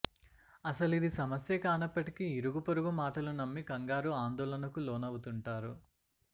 అసలిది సమస్యే కానప్పటికి ఇరుగు పొరుగు మాటలు నమ్మి కంగారు ఆందోళనకు లోనవుతుంటారు